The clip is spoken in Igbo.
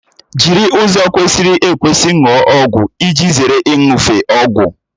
Jiri ụzọ kwesịrị ekwesị ṅụọ ọgwụ iji zere iṅufe ọgwụ